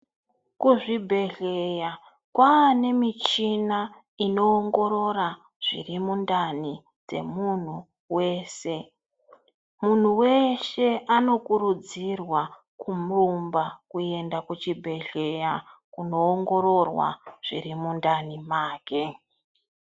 Kuzvibhehleya kwaane michini inoongorora zviri mundani dzemunhu weshe, munhu weshe anokurudzirwa kurumba kuenda kuchibhleya kunoongororwa zviri mundani make.